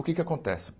O que é que acontece?